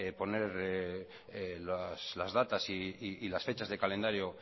poner las datas y las fechas de calendario